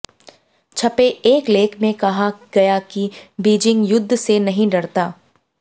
छपे एक लेख में कहा गया कि बीजिंग युद्ध से नहीं डरता